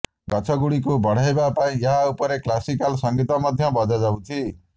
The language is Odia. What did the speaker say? ଗଛଗୁଡ଼ିକୁ ବଢାଇବା ପାଇଁ ଏହା ଉପରେ କ୍ଲାସିକାଲ ସଙ୍ଗୀତ ମଧ୍ୟ ବଜାଯାଉଛି